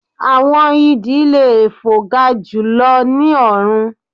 Awọn idì le fo ga julọ ni ọrun